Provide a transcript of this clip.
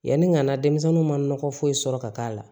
Yanni ka na denmisɛnninw ma nɔgɔ foyi sɔrɔ ka k'a la